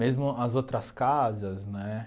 Mesmo as outras casas, né?